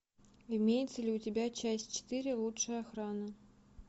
имеется ли у тебя часть четыре лучшая охрана